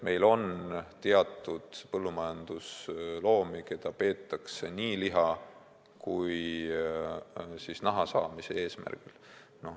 Meil on põllumajandusloomi, keda peetakse nii liha kui ka naha saamise eesmärgil.